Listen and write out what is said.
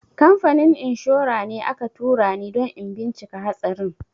Kamfanin inshora ne aka tura ni don in bincika hatsarin.